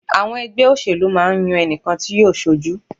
Àwọn ẹgbẹ́ òṣèlú máa ń yan ẹnìkan tí yóò ṣojú.